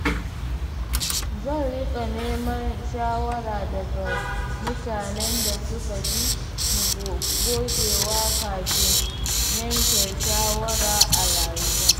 Zan riƙa neman shawara daga mutanen da suka fi ni gogewa kafin yanke shawara a rayuwa.